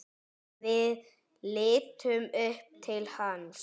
Við litum upp til hans.